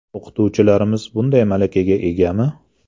O‘qituvchilarimiz bunday malakaga egami?